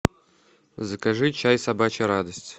закажи чай собачья радость